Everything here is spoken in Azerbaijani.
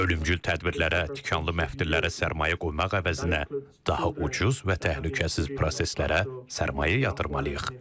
Ölümcül tədbirlərə, tikanlı məftillərə sərmayə qoymaq əvəzinə daha ucuz və təhlükəsiz proseslərə sərmayə yatırmalıyıq.